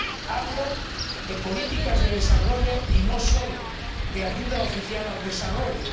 Hablo de políticas de desarrollo y no solo de ayuda oficial al desarrollo.